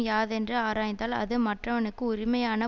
யாதென்று ஆராய்ந்தால் அது மற்றவனுக்கு உரிமையான